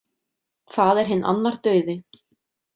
Það er hinn annar dauði.